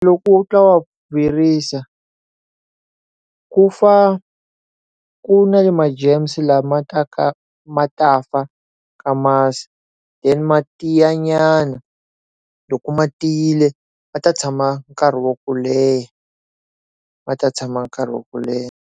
Loko u twa ku fa ku na le ma germs lama ma ta ka ma ta fa ka masi then matiya nyana loko matiyile ma ta tshama nkarhi wo leha ma ta tshama nkarhi wo leha.